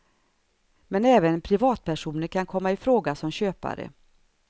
Men även privatpersoner kan komma i fråga som köpare.